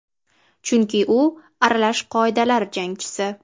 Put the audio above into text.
Chunki u aralash qoidalar jangchisi.